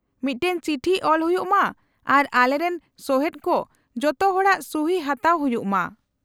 -ᱢᱤᱫᱴᱮᱱ ᱪᱤᱴᱷᱤ ᱚᱞ ᱦᱩᱭᱩᱜ ᱢᱟ ᱟᱨ ᱟᱞᱮᱨᱮᱱ ᱥᱚᱦᱮᱫ ᱠᱚ ᱡᱚᱛᱚ ᱦᱚᱲᱟᱜ ᱥᱩᱦᱤ ᱦᱟᱛᱟᱣ ᱦᱩᱭᱩᱜ ᱢᱟ ᱾